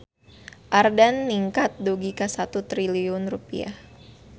Ayeuna omset Radio Ardan ningkat dugi ka 1 triliun rupiah